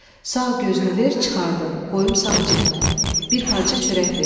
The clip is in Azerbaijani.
Sağ gözünü ver, çıxardım, qoyum sağ cibimə, bir parça çörək verim.